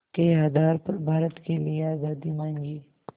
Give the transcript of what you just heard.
के आधार पर भारत के लिए आज़ादी मांगी